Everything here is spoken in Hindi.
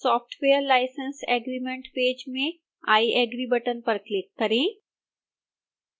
software license agreement पेज में i agree बटन पर क्लिक करें